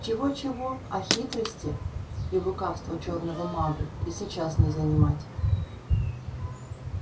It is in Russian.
чего-чего а хитрости и лукавства чёрному магу и сейчас не занимать